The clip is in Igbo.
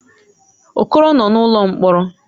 Okoro nọ n'ụlọ mkpọrọ.